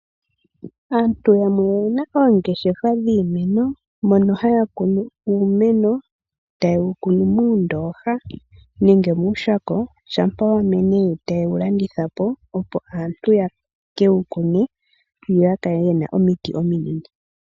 Aantu yamwe oyena oongeshefa dhiimeno mono haya kunumo uumeno tayewu kunu moondooha nenge mooshako shampa wamene yo tayewu landithapo opo aantu yekewu kune yo yakale yena omiti ominene.